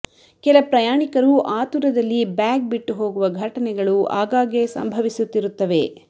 ಕೆಲ ಪ್ರಯಾಣಿಕರು ಆತುರದಲ್ಲಿ ಬ್ಯಾಗ್ ಬಿಟ್ಟು ಹೋಗುವ ಘಟನೆಗಳು ಆಗಾಗ್ಗೆ ಸಂಭವಿಸುತ್ತಿರುತ್ತವೆ